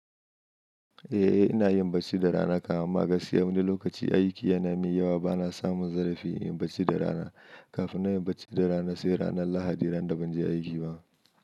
Eh ina yin barci da rana, kam amma wani lokaci aiki yana min yawa bana samun zarafi in yi barci da rana. Kafin na yi barci da rana, sai ranar Lahadi ran da ban je aiki ba.